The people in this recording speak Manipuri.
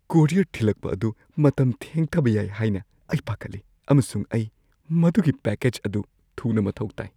ꯀꯣꯔꯤꯌꯔ ꯊꯤꯂꯛꯄ ꯑꯗꯨ ꯃꯇꯝ ꯊꯦꯡꯊꯕ ꯌꯥꯏ ꯍꯥꯏꯅ ꯑꯩ ꯄꯥꯈꯠꯂꯤ, ꯑꯃꯁꯨꯡ ꯑꯩ ꯃꯗꯨꯒꯤ ꯄꯦꯀꯦꯖ ꯑꯗꯨ ꯊꯨꯅ ꯃꯊꯧ ꯇꯥꯏ ꯫